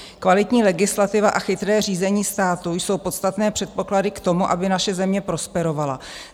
"Kvalitní legislativa a chytré řízení státu jsou podstatné předpoklady k tomu, aby naše země prosperovala.